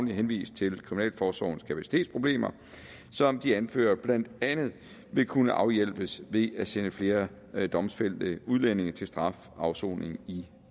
henvist til kriminalforsorgens kapacitetsproblemer som de anfører blandt andet vil kunne afhjælpes ved at sende flere domfældte udlændinge til strafafsoning i